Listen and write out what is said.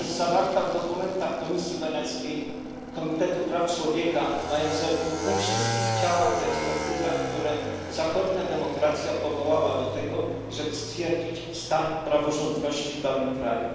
Jest zawarta w dokumentach Komisji Weneckiej, Komitetu Praw Człowieka ONZ, we wszystkich ciałach i ekspertyzach, które zachodnia demokracja powołała do tego, żeby stwierdzić stan praworządności w danym kraju.